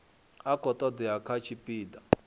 a khou todea kha tshipida